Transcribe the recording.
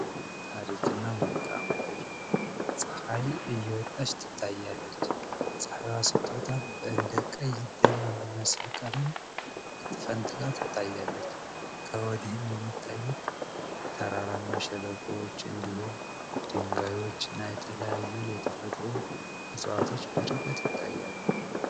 ታሪክ እና መልክዓ ምድር ፀሀይ እየወጣች ትታያለች ፀሀይዋ ስትወጣም እንደ ቀይ ደም የሚመስል ነገር ፈንትካ ትታያለች ከወዲህም የሚታዩት ተራራማ በሸለቆዎች ፣ድንጋዮች እና የተለያዩ የተፈጥሮ እፅዋቶች በርቀት ይታያሉ።